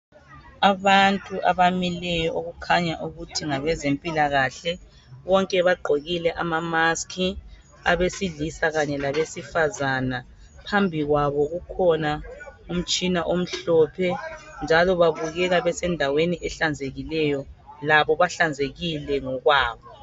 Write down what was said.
Abantu abamileyo okukhanya ukuthi ngabezempilakahle bonke bagqokile amamaski abesilisa kanye labesifazana phambi kwabo kukhona umtshina omhlophe njalo babukeka basendaweni ehlanzekileyo labo behlanzekile ngokwabo.